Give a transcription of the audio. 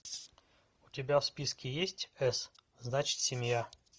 у тебя в списке есть с значит семья